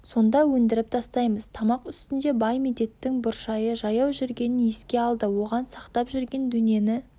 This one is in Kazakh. сонда өндіріп тастаймыз тамақ үстінде бай медеттің бұршайы жаяу жүргенін еске алды оған сақтап жүрген дөнені